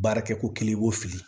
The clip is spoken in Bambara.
Baarakɛko kelen i b'o fili